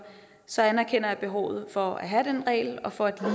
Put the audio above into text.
så anerkender jeg behovet for at have den regel og for at